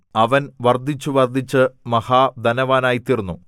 അവൻ വർദ്ധിച്ചു വർദ്ധിച്ചു മഹാധനവാനായിത്തീർന്നു